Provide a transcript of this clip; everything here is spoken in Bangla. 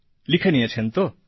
লিখে নিয়েছেন তো